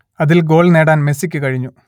അതിൽ ഗോൾ നേടാൻ മെസ്സിക്ക് കഴിഞ്ഞു